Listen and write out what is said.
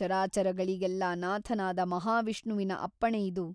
ಚರಾಚರಗಳಿಗೆಲ್ಲ ನಾಥನಾದ ಮಹಾವಿಷ್ಣುವಿನ ಅಪ್ಪಣೆಯಿದು